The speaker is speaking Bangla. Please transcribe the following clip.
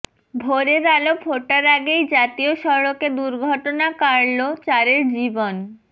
ভোরের আলো ফোটার আগেই জাতীয় সড়কে দুর্ঘটনা কাড়ল চারের জীবন